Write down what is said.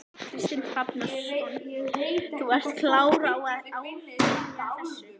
Kristinn Hrafnsson: Þú ert klár á að áfrýja þessu?